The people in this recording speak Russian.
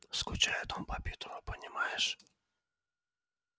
скучает он по питеру понимаешь